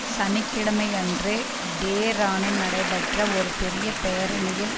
சனி கிழமையன்று டெரானில் நடைபெற்ற ஒரு பெரிய பேரணியில்